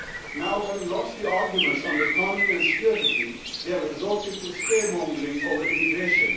Now having lost the arguments on the economy and security they have resorted to scaremongering over immigration.